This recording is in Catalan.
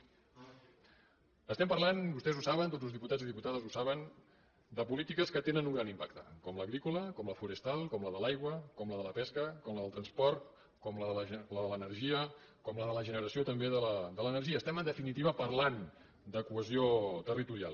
estem parlant vostès ho saben tots els diputats i diputades ho saben de polítiques que tenen un gran impacte com l’agrícola com la forestal com la de l’aigua com la de la pesca com la de transport com la de l’energia com la de la generació també de l’energia estem en definitiva parlant de cohesió territorial